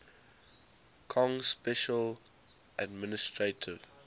kong special administrative